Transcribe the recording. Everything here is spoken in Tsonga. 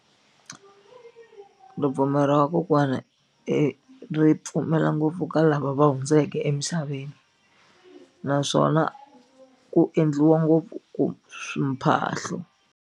Ripfumelo ra vakokwana ri pfumela ngopfu ka lava va hundzeke emisaveni naswona ku endliwa ngopfu ku mphahlo.